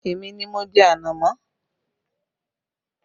Èmi ni mo jẹ ànámọ́